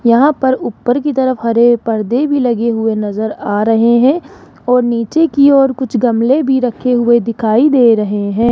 यहां पर ऊपर की तरफ हरे पर्दे भी लगे हुए नज़र आ रहे हैं और नीचे की ओर कुछ गमले भी रखे हुए दिखाई दे रहे हैं।